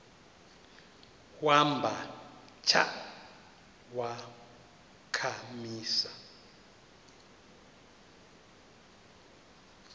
wamba tsha wakhamisa